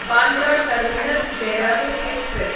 Bandra terminus Dehradun express